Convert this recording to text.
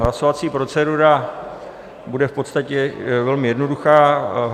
Hlasovací procedura bude v podstatě velmi jednoduchá.